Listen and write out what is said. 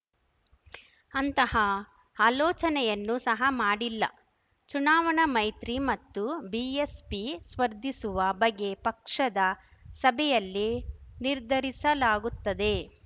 ಅಂತಹ ಆಲೋಚನೆಯನ್ನು ಸಹ ಮಾಡಿಲ್ಲ ಚುನಾವಣಾ ಮೈತ್ರಿ ಮತ್ತು ಬಿಎಸ್‌ಪಿ ಸ್ಪರ್ಧಿಸುವ ಬಗ್ಗೆ ಪಕ್ಷದ ಸಭೆಯಲ್ಲಿ ನಿರ್ಧರಿಸಲಾಗುತ್ತದೆ